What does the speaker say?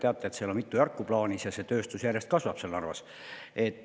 Nagu te teate, seal on mitu järku plaanis ja see tööstus Narvas järjest kasvab.